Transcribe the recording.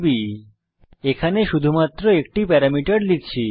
এবং এখানে আমরা শুধুমাত্র একটি প্যারামিটার লিখছি